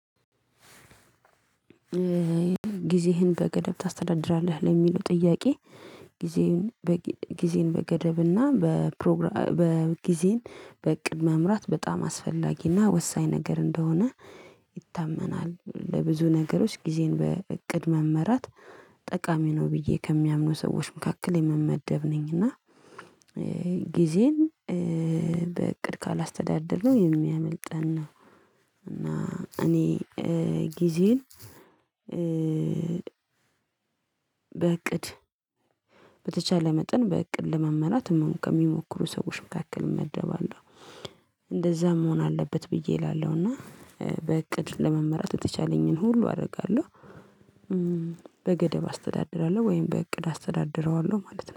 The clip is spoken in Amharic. ጊዜህን በገደብ ታስተዳድራለህ ለሚለው ጥያቄ? ጊዜዬን በገደብና በፕሮግራ በጊዜን በእቅድ መምራት በጣም አስፈላጊና ወሳኝ ነገር እንደሆነ ይታመናል ለብዙ ነገሮች ጊዜን በእቅድ መመራት ጠቃሚ ነው ብዬ ከሚያምኑ ሰዎች መካከል የምመደብ ነኝ። እና ጊዜን በእቅድ ካላስተዳደርነው የሚያመልጠን ነው። እና እኔ ጊዜን በእቅድ በተቻለ መጠን በእቅድ ለመመራት ከሚሞክሩ ሰዎች መካከል እመደባለሁ። እንደዛ መሆን አለበት ብዬ እላለሁ እና በእቅድ ለመመራት የተቻለኝን ሁሉ አደርጋለሁ። በገደብ አስተዳድራለሁ ወይም በእቅድ አስተዳድረዋለሁ ማለት ነው